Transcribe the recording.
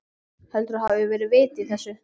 Heldurðu að það hafi verið vit í þessu?